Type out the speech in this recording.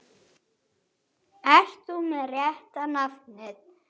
Ert þú með rétta nafnið?